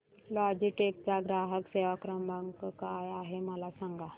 Logitech चा ग्राहक सेवा क्रमांक काय आहे मला सांगा